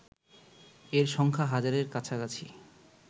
এর সংখ্যা হাজারের কাছাকাছি